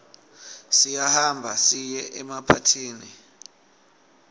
siyahamba siye emapathini